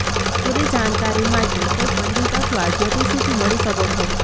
પૂરી જાણકારી માટે કોઈ પંડિત અથવા જ્યોતિષી થી મળી શકો છો